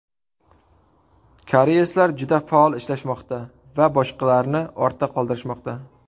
Koreyslar juda faol ishlashmoqda va boshqalarni ortda qoldirishmoqda.